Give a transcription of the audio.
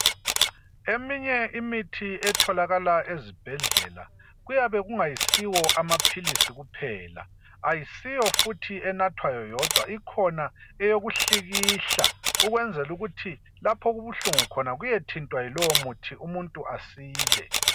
eminye imithi etholakala ezibhedlela kuyabe kungayisiwo amaphilisi kuphela ayisiyo futhi enathwayo yodwa ikhona eyokuhlikihla ukwenzela ukuthi lapho okubuhlungu khona kuyethintwa yilowomuthi umuntu asile